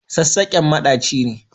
Sassaƙen maɗaci ne.